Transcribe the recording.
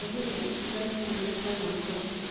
search பண்ணிட்டுதான் வந்தோம்.